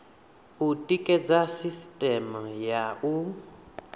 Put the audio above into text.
u tikedza sisiteme ya u